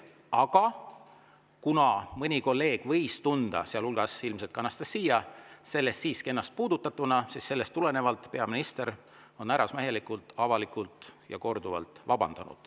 Aga kuna mõni kolleeg, sealhulgas ilmselt Anastassia, võis tunda ennast sellest siiski puudutatuna, siis on peaminister härrasmehelikult, avalikult ja korduvalt vabandanud.